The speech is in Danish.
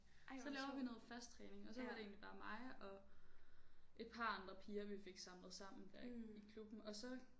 Så laver vi noget fast træning og så var det egentlig bare mig og et par andre piger vi fik samlet sammen der i klubben og så